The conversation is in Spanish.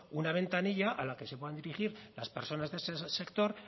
una ventanilla a la que se puedan dirigir las personas de ese sector